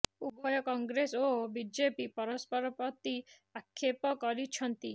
ଉଭୟ କଂଗ୍ରେସ ଓ ବିଜେପି ପରସ୍ପର ପ୍ରତି ଆକ୍ଷେପ କରିଛନ୍ତି